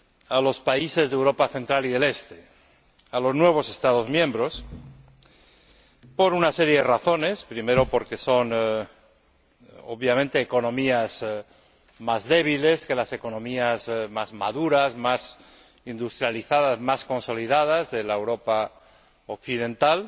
a los países de Europa central y oriental, a los nuevos Estados miembros, por una serie de razones primero, porque son, obviamente, economías más débiles que las economías más maduras, más industrializadas, más consolidadas de Europa Occidental